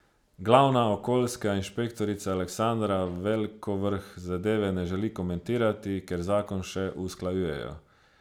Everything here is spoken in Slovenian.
Glavna okoljska inšpektorica Aleksandra Velkovrh zadeve ne želi komentirati, ker zakon še usklajujejo.